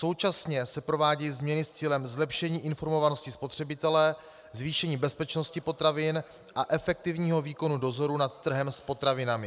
Současně se provádějí změny s cílem zlepšení informovanosti spotřebitele, zvýšení bezpečnosti potravin a efektivního výkonu dozoru nad trhem s potravinami.